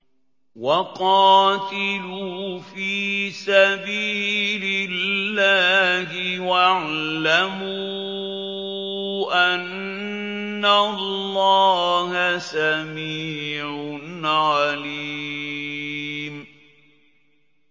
وَقَاتِلُوا فِي سَبِيلِ اللَّهِ وَاعْلَمُوا أَنَّ اللَّهَ سَمِيعٌ عَلِيمٌ